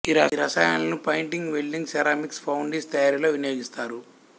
ఈ రసాయనాలను painting welding ceramics foundries తయారీలో వినియోగిస్తారు